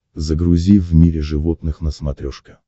загрузи в мире животных на смотрешке